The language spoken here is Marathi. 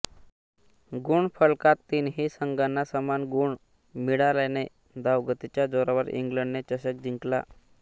गुणफलकात तीनही संघांना समान गुण मिळाल्याने धावगतीच्या जोरावर इंग्लंडने चषक जिंकला